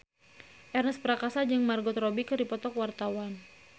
Ernest Prakasa jeung Margot Robbie keur dipoto ku wartawan